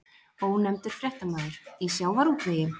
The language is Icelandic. Ónefndur fréttamaður: Í sjávarútvegi?